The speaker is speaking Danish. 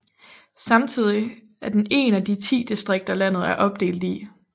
Samtidig er den én af de 10 distrikter landet er opdelt i